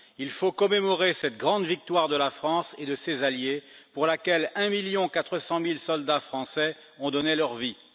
Il faut commémorer cette grande victoire de la France et de ses alliés pour laquelle 1,4 million de soldats français ont donné leur vie.